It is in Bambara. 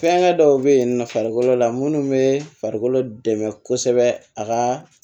Fɛnkɛ dɔw be yen nɔ farikolo la munnu be farikolo dɛmɛ kosɛbɛ a ka